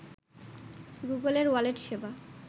গুগলের ওয়ালেট সেবা